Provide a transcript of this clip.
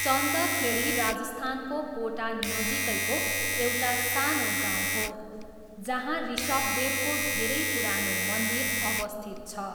चन्द खेडी राजस्थानको कोटा नजिकैको एउटा सानो गाउँ हो जहाँ ऋषभदेवको धेरै पुरानो मन्दिर अवस्थित छ।